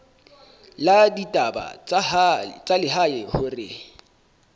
la ditaba tsa lehae hore